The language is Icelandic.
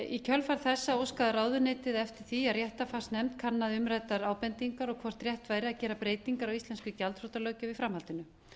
í kjölfar þessa óskaði ráðuneytið eftir því að réttarfarsnefnd kannaði umræddar ábendingar og hvort rétt væri að gera breytingar á íslensku gjaldþrotalöggjöf í framhaldinu